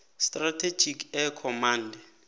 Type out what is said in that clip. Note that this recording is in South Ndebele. strategic air command